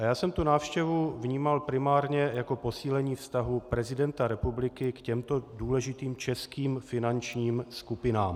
A já jsem tu návštěvu vnímal primárně jako posílení vztahu prezidenta republiky k těmto důležitým českým finančním skupinám.